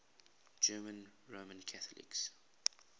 german roman catholics